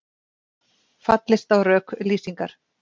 Fallist á rök Lýsingar